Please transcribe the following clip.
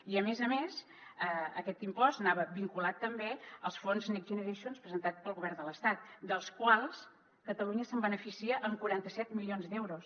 i a més a més aquest impost anava vinculat també als fons next generation presentats pel govern de l’estat dels quals catalunya se’n beneficia amb quaranta set milions d’euros